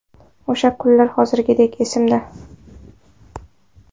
O‘sha kunlar hozirgidek esimda.